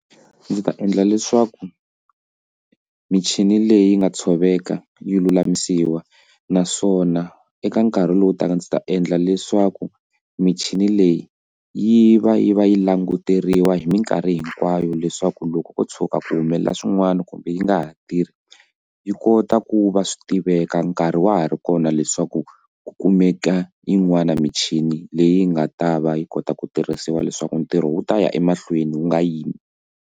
Ndzi ta endla leswaku michini leyi nga tshoveka yi lulamisiwa naswona eka nkarhi lowu taka ndzi ta endla leswaku michini leyi yi va yi va yi languteriwa hi minkarhi hinkwayo leyi leswaku loko ko tshuka ku humelela swin'wana kumbe yi nga ha tirhi yi kota ku va swi tiveka nkarhi wa ha ri kona leswaku ku kumeka yin'wani michini leyi nga ta va yi kota ku tirhisiwa leswaku ntirho wu ta ya emahlweni wu nga yimi.